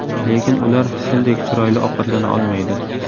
Lekin ular Sildek chiroyli ovqatlana olmaydi.